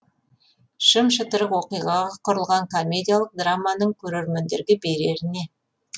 шым шытырық оқиғаға құрылған комедиялық драманың көрермендерге берері не